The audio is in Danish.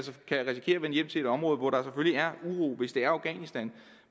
hjem til et område hvor der er uro hvis det om afghanistan